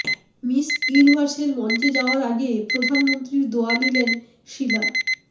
miss ইউনিভার্সের মঞ্চে যাওয়ার আগে প্রধানমন্ত্রীর দোয়া নিলেন শিলা